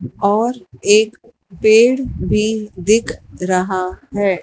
और एक पेड़ भी दिख रहा है।